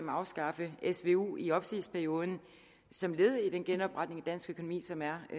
at afskaffe svu i opsigelsesperioden som led i den genopretning af dansk økonomi som er